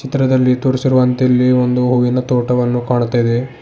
ಚಿತ್ರದಲ್ಲಿ ತೋರಿಸಿರುವಂತೆ ಇಲ್ಲಿ ಒಂದು ಹೂವಿನ ತೋಟವನು ಕಾಣುತ್ತಾ ಇದೆ.